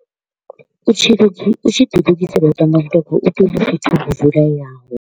U tshi u tshi ḓi lugisela u tamba mutambo u tea u ho vuleaho.